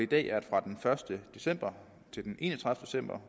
dag er fra den første december til den enogtredivete december